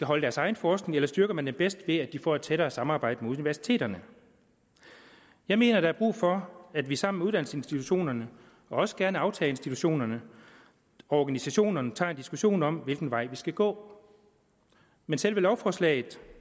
har deres egen forskning eller styrker man dem bedst ved at de får et tættere samarbejde med universiteterne jeg mener der er brug for at vi sammen med uddannelsesinstitutionerne og også gerne aftagerinstitutionerne og organisationerne tager en diskussion om hvilken vej vi skal gå men selve lovforslaget